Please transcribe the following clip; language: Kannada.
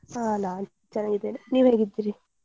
ಹಾ ನಾನ್ ಚೆನ್ನಾಗಿದ್ದೇನೆ, ನೀವ್ ಹೇಗಿದ್ದೀರಿ?